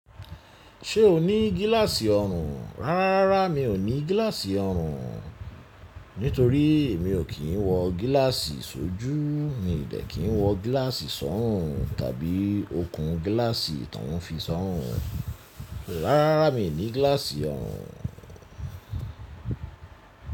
Ṣé o ní glass ọrùn? Rárá, mi ò ní glass ọrùn, nítorí emi ò kí ń wọ glass sójú. Mi ò dé kí ń wọ gíláàsì sọ́rùn tàbí okùn gíláàsì tó ń fi sọ́rùn. Rárá, mi ní gíláàsì ọrùn.